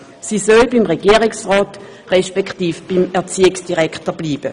Sie soll beim Regierungsrat respektive beim Erziehungsdirektor bleiben.